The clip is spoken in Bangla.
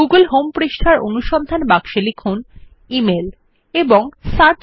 গুগল হোম পৃষ্ঠার অনুসন্ধান বাক্সে লিখুন emailএবং সার্চ